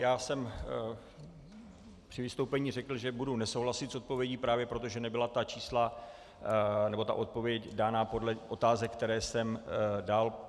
Já jsem při vystoupení řekl, že budu nesouhlasit s odpovědí, právě proto, že nebyla ta čísla nebo ta odpověď dána podle otázek, které jsem dal.